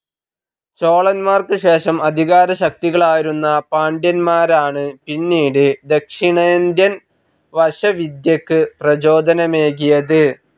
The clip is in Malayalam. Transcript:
ചോളൻമാർക്ക് ശേഷം അധികാരശക്തികളായിരുന്ന പാണ്ട്യൻമാരാണ് പിന്നീട് ദക്ഷിണേന്ത്യൻ വശവിദ്യക്ക് പ്രചോദനമേകിയത്.